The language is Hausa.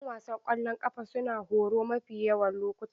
'Yan wasan ƙwallon ƙafa suna horo mafi yawan lokuta.